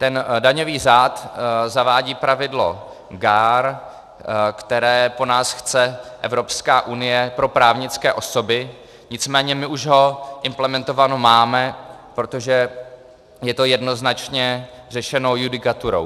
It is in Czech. Ten daňový řád zavádí pravidlo GAAR, které po nás chce Evropská unie pro právnické osoby, nicméně my už ho implementováno máme, protože je to jednoznačně řešeno judikaturou.